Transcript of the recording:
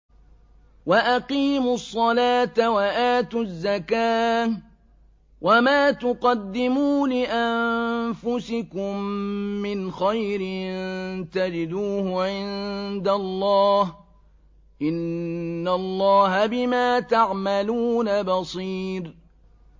وَأَقِيمُوا الصَّلَاةَ وَآتُوا الزَّكَاةَ ۚ وَمَا تُقَدِّمُوا لِأَنفُسِكُم مِّنْ خَيْرٍ تَجِدُوهُ عِندَ اللَّهِ ۗ إِنَّ اللَّهَ بِمَا تَعْمَلُونَ بَصِيرٌ